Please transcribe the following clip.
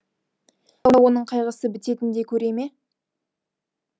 оның қайғысы бітетіндей көре ме